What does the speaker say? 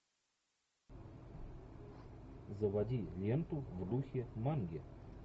заводи ленту в духе манги